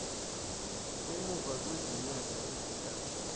emuva kwezinyanga ezintathu